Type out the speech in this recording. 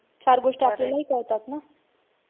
चार गोष्टी आपल्यालाही कळतात ना.